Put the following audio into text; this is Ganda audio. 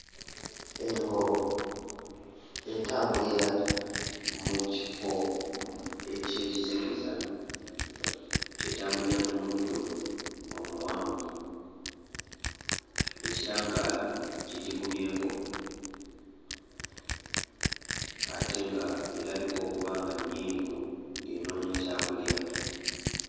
Engo etambulira mu kifo eky'ekizikiza, etambulira mu muddo omuwanvu. Ekitangaala kigikubyeko ate nga erabika okuba nga nnyiivu ng'enoonya kyakulya.